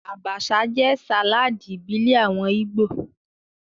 Abacha jẹ́ sàláàdì ìbílẹ̀ àwọn Ìgbò